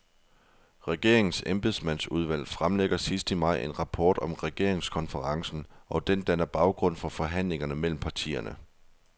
Regeringens embedsmandsudvalg fremlægger sidst i maj en rapport om regeringskonferencen, og den danner baggrund for forhandlingerne mellem partierne.